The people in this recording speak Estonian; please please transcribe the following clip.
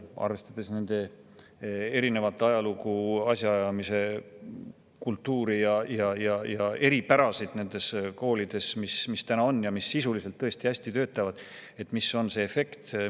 Kui arvestada nende erinevat ajalugu, asjaajamise kultuuri ja eripära nendes koolides, mis meil täna on ja mis tõesti hästi töötavad, siis mis on see efekt?